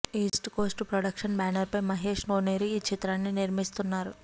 east Coast Productions banner పై మహేష్ కోనేరు ఈ చిత్రాన్ని నిర్మిస్తున్నారు